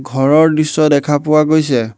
ঘৰৰ দৃশ্য দেখা পোৱা গৈছে।